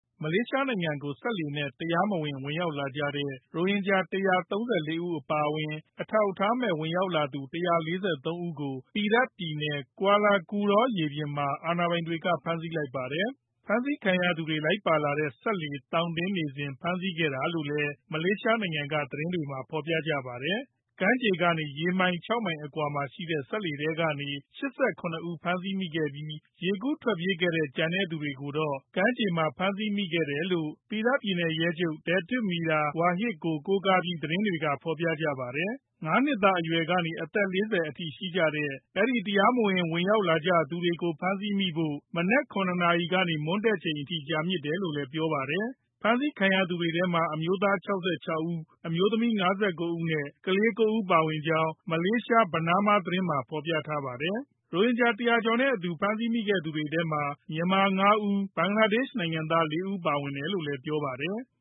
မလေးရှားနိုင်ငံကို စက်လှေနဲ့ တရားမဝင် ဝင်ရောက်လာကြတဲ့ ရိုဟင်ဂျာ ၁၃၄ ဦး အပါအဝင် အထောက်အထားမဲ့ ရောက်လာသူ ၁၄၃ ဦးကို Perak ပြည်နယ် Kuala Kurau ရေပြင်မှာ အာဏာပိုင်တွေ ဖမ်းဆီးလိုက်ပါတယ်။ ဖမ်းဆီးခံရသူတွေ လိုက်ပါလာတဲ့ စက်လှေ သောင်တင်နေစဉ် ဖမ်းဆီးခဲ့တာလို့လည်း မလေးရှားနိုင်ငံက သတင်းတွေမှာ ဖော်ပြခဲ့ကြတာပါ။ ကမ်းခြေကနေ ရေမိုင် ၆ မိုင်အကွာရှိ စက်လှေထဲကနေ ၈၇ ဦး ဖမ်းဆီးမိခဲ့ပြီး ရေကူးထွက်ပြေးခဲ့တဲ့ ကျန်တဲ့သူတွေကိုတော့ ကမ်းခြေမှာ ဖမ်းဆီးမိခဲ့တယ်လို့ Perak ပြည်နယ် ရဲချုပ် Datuk Mior Faridalathrash Wahid ကို ကိုးကားပြီး သတင်းတွေက ဖော်ပြကြပါတယ်။ ၅ နှစ်သားအရွယ်ကနေ အသက် ၄၀ အထိ ရှိကြတဲ့ အဲဒီ တရားမဝင် ဝင်ရောက်လာကြသူတွေကို ဖမ်းဆီးမိဖို့ မနက် ၇ နာရီကနေ မွန်းတည့်ချိန်အထိ ကြာမြင့်တယ်လို့လည်း ပြောပါတယ်။ ဖမ်းဆီးခံရသူတွေထဲမှာ အမျိုးသား ၆၆ ဦး၊ အမျိုးသမီး ၅၉ ဦးနဲ့ ကလေး ၉ ဦး ပါဝင်ကြောင်းလည်း မလေးရှား Bernama သတင်းမှာ ဖော်ပြထားပါတယ်။ ရိုဟင်ဂျာ ၁၀၀ ကျော်နဲ့အတူ ဖမ်းဆီးမိသူတွေထဲမှာ မြန်မာနိုင်ငံသား ၅ ဦး၊ ဘင်္ဂလားဒေ့ရှ်နိုင်ငံသား ၄ ဦး ပါဝင်တယ်လို့လည်း ပြောပါတယ်။